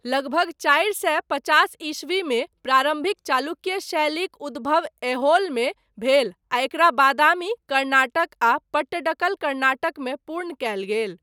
लगभग चारि सए पचास ई. मे, प्रारम्भिक चालुक्य शैलीक उद्भव, ऐहोलमे भेल, आ एकरा बादामी, कर्नाटक आ पट्टडकल, कर्नाटकमे, पूर्ण कयल गेल।